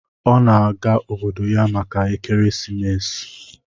Ọ na-aga obodo ya maka ekeresimesi.